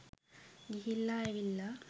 ගිහිල්ලා ඇවිල්ලා